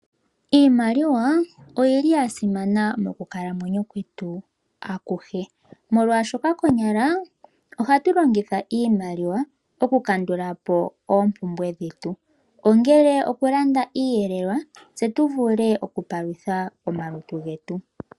Iimaliwa oya simana moku kalanwenyo kwetu akuhe molwaashoka konyala ohatu longitha iimaliwa okukandula po oompumbwe dhetu ongele okulanda iiyelelwa tse tuvule oku palutha omalutu getu.